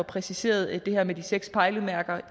præciseret det her med de seks pejlemærker